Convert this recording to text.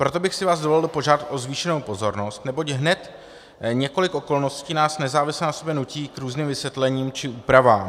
Proto bych si vás dovolil požádat o zvýšenou pozornost, neboť hned několik okolností nás nezávisle na sobě nutí k různým vysvětlením či úpravám.